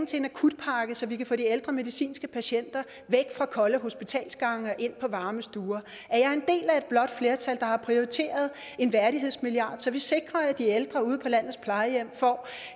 til en akutpakke så vi kan få de ældre medicinske patienter væk fra kolde hospitalsgange og ind på varme stuer at et blåt flertal der har prioriteret en værdighedsmilliard så vi sikrer at de ældre ude på landets plejehjem får